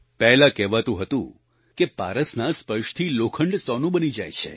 પહેલા કહેવાતું હતું કે પારસના સ્પર્શથી લોખંડ સોનું બની જાય છે